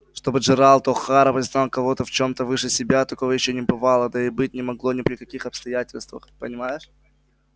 чтобы джералд охара признал кого-то в чем-то выше себя такого ещё не бывало да и быть не могло ни при каких обстоятельствах понимаешь